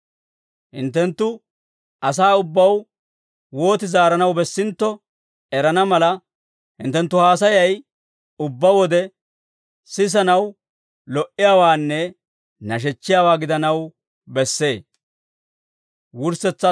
Hinttenttu asaa ubbaw wooti zaaranaw bessintto erana mala, hinttenttu haasayay ubbaa wode, sisanaw lo"iyaawaanne nashechchiyaawaa gidanaw bessee.